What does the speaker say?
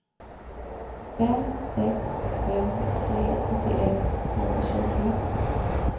fem sex fem tre sjuttioett trehundratjugo